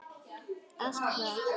Allt hvað?